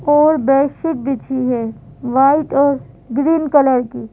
और बेडशीट बिछी है वाइट और ग्रीन कलर की --